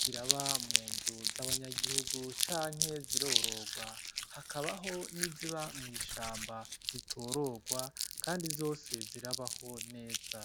ziraba mu nzu z'abanyagihugu canke zirororwa hakabaho n'iziba mw'ishamba zitororwa, kandi zose zirabaho neza.